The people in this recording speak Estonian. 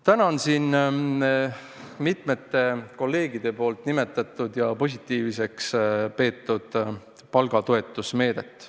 Täna on siin mitmed kolleegid nimetanud ja positiivseks pidanud palgatoetuse meedet.